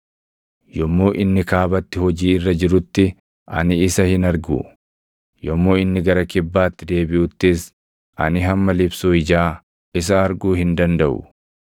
Yommuu inni kaabatti hojii irra jirutti ani isa hin argu; yommuu inni gara kibbaatti deebiʼuttis ani hamma libsuu ijaa isa arguu hin dandaʼu.